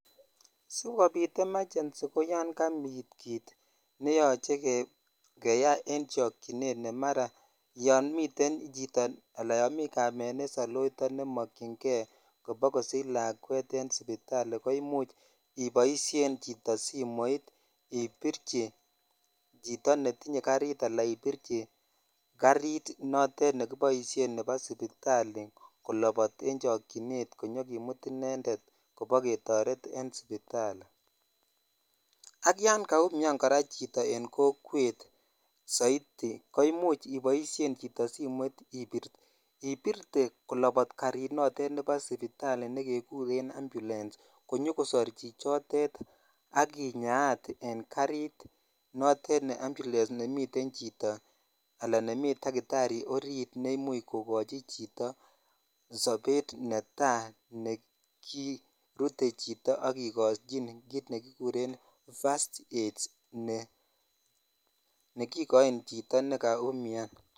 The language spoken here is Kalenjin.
Sijobit emergency koyan kabit kit nemoche keyaa en chochinet ne mara yan miten chito ala kamet ne sailoito kobakosich lakwet en sipitali imuch ibodhen chito simoit ibitchi choto netinye garit ala ibirich farit nekiboishen nebo sipitali kolopot en chokchinet konyokimut inended koba ketoret en sipitali ak yan kaumian chito en kokwet soiti ko imuch iboishen chito simoit ibirtee kolobot karit nebo sipitali nekekuren ambulance konyo kosor chichotet ak kinyaat en garit note ne ambulance ne miten chito ala dakitari orit ne imuch kokochi chito sobet netai ne kirutee chito ak kikochin ne kikuren [cs[first aid ne kikochin chito ne kaunian.